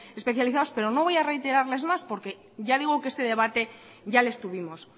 especializados pero no voy a reiterarles más porque ya digo que este debate ya les tuvimos